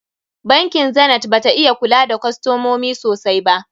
Bankin Zenith bata iya kula da kostomomi sosai ba.